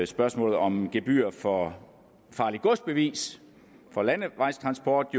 spørgsmålet om gebyr for farligt gods bevis for landevejstransport